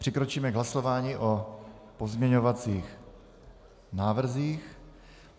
Přikročíme k hlasování o pozměňovacích návrzích.